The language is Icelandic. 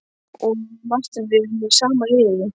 Ég og Marteinn, við erum í sama liði.